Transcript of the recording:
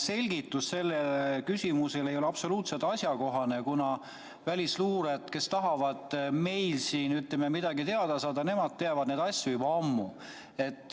selgitus sellele küsimusele ei ole absoluutselt asjakohane, kuna välisluurajad, kes tahavad meilt midagi teada saada, teavad neid asju juba ammu.